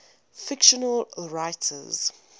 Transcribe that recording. fictional writers